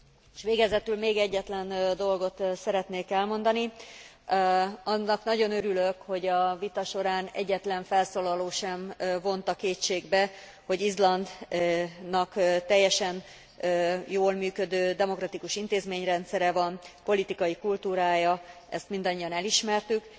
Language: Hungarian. És végezetül még egyetlen dolgot szeretnék elmondani annak nagyon örülök, hogy a vita során egyetlen felszólaló sem vonta kétségbe, hogy Izlandnak teljesen jól működő demokratikus intézményrendszere van, politikai kultúrája, ezt mindannyian elismertük.